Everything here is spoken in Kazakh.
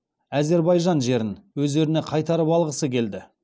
әзербайжан жерің өздеріне қайтарып алғысы келді